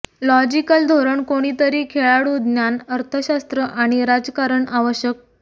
logical धोरण कोणीतरी खेळाडू ज्ञान अर्थशास्त्र आणि राजकारण आवश्यक